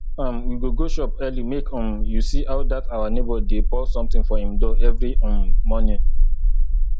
um we go go shop early make um you see how dat our neighbour dey pour something for im door every um morning